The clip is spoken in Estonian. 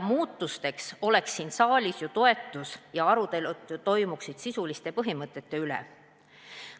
Muutustele oleks siin saalis ju toetus ja arutelud toimuksid sisuliste põhimõtete üle.